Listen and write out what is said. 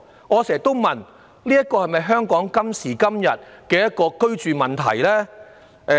我常問這是否香港今時今日必須面對的居住問題？